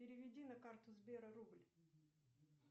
переведи на карту сбера рубль